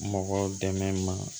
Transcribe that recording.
Mɔgɔ dɛmɛ ma